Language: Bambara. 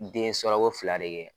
Den sɔrɔ ko fila de kɛ.